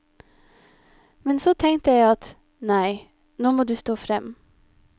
Men så tenkte jeg at, nei, nå må du stå frem.